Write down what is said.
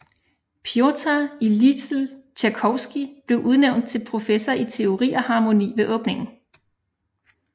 Pjotr Ilitj Tjajkovskij blev udnævnt til professor i teori og harmoni ved åbningen